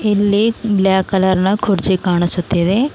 ಇಲ್ಲಿ black colour ನ ಕುರ್ಚಿ ಕಾಣಿಸುತ್ತಿವೆ.